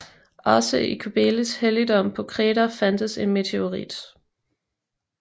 Også i Kybeles helligdom på Kreta fandtes en meteorit